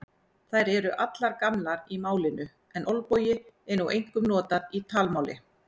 Þær eru allar gamlar í málinu en olbogi er nú einkum notað í talmáli.